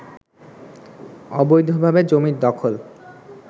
অবৈধভাবে জমি দখল